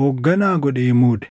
hoogganaa godhee muude.